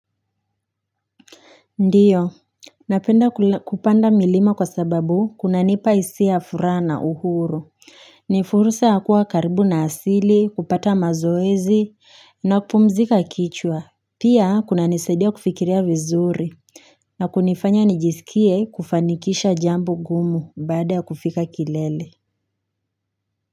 Ndio, napenda kupanda milima kwa sababu kunanipa hisia ya furaha na uhuru. Nifursa ya kuwa karibu na asili, kupata mazoezi, na kupumzika kichwa. Pia, kuna nisaidia kufikiria vizuri. Na kunifanya nijisikie kufanikisha jambo ngumu baada ya kufika kilele.